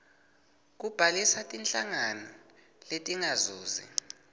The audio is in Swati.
kubhalisa tinhlangano letingazuzi